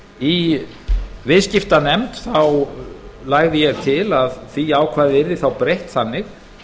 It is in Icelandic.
í viðskiptanefnd lagði ég til að því ákvæði yrði þá breytt þannig